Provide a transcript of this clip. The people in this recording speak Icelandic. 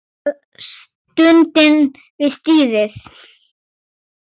Það er stunið við stýrið.